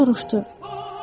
O soruşdu: